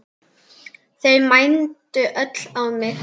Þau mændu öll á mig.